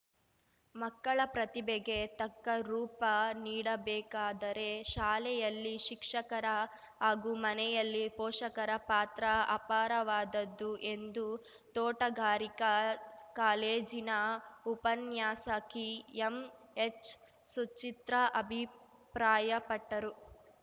ಮಕ್ಕಳ ಪ್ರತಿಭೆಗೆ ತಕ್ಕ ರೂಪ ನೀಡಬೇಕಾದರೆ ಶಾಲೆಯಲ್ಲಿ ಶಿಕ್ಷಕರ ಹಾಗೂ ಮನೆಯಲ್ಲಿ ಪೋಷಕರ ಪಾತ್ರ ಅಪಾರವಾದದ್ದು ಎಂದು ತೋಟಗಾರಿಕಾ ಕಾಲೇಜಿನ ಉಪನ್ಯಾಸಕಿ ಎಂಎಚ್‌ಸುಚಿತ್ರ ಅಭಿಪ್ರಾಯಪಟ್ಟರು